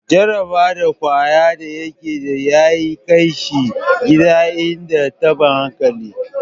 Jaraba da kwaya da yake da ya kai shi gidan en taban hankali.